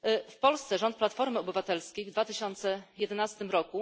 W Polsce rząd Platformy Obywatelskiej w 2011 r.